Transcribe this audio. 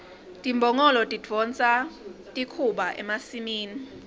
timbongolo tidonsa likhuba emasimini